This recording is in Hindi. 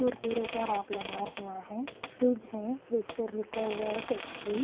कुरकुरे का राग लगा हुआ है फ्रिज है फ्रिज पर लिखा हुआ है पेप्सी --